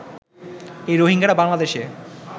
এই রোহিঙ্গারা বাংলাদেশে